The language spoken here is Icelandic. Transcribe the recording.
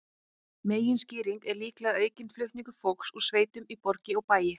Meginskýringin er líklega aukinn flutningur fólks úr sveitum í borgir og bæi.